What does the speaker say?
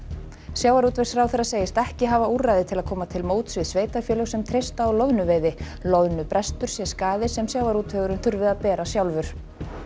sjávarútvegsráðherra segist ekki hafa úrræði til að koma til móts við sveitarfélög sem treysta á loðnuveiði loðnubrestur sé skaði sem sjávarútvegurinn þurfi að bera sjálfur